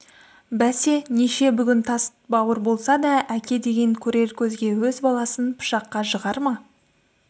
бәсе неше бүгін тас бауыр болса да әке деген көрер көзге өз баласын пышаққа жығар ма